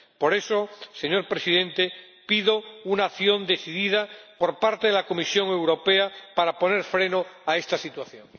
Por eso, señor Presidente, pido una acción decidida por parte de la Comisión Europea para poner freno a esta situación.